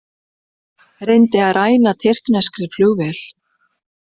Reyndi að ræna tyrkneskri flugvél